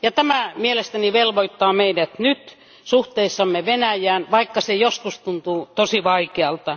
Tämä mielestäni velvoittaa meidät nyt suhteissamme Venäjään, vaikka se joskus tuntuu tosi vaikealta.